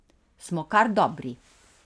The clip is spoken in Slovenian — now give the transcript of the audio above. Smo kar dobri.